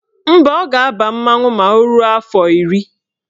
Mba, ọ ga-aba mmanwụ ma o ruo afọ iri